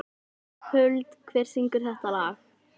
Huld, hver syngur þetta lag?